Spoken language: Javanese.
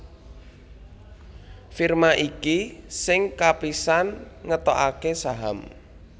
Firma iki sing kapisan ngetokaké saham